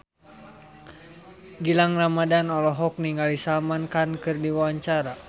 Gilang Ramadan olohok ningali Salman Khan keur diwawancara